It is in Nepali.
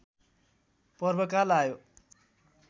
पर्वकाल आयो